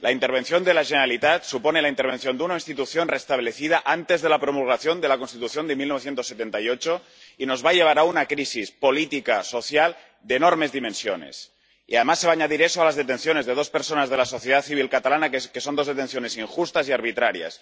La intervención de la Generalitat supone la intervención de una institución restablecida antes de la promulgación de la Constitución de 1978 y nos va a llevar a una crisis política, social, de enormes dimensiones y, además, se va a añadir eso a las detenciones de dos personas de la sociedad civil catalana que son dos detenciones injustas y arbitrarias.